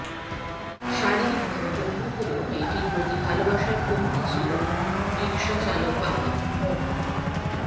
শারীরিকভাবে পঙ্গু হলেও মেয়েটির প্রতি ভালোবাসার কমতি ছিল রিক্সাচালক বাবা মো